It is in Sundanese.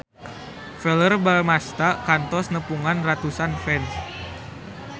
Verrell Bramastra kantos nepungan ratusan fans